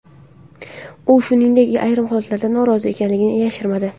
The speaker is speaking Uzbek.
U, shuningdek, ayrim holatlardan norozi ekanini yashirmadi.